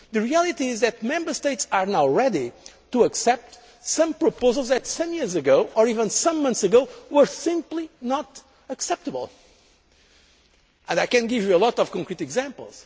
The reality is that Member States are now ready to accept some proposals that some years ago, or even some months ago, were simply not acceptable, and I can give you a lot of concrete examples.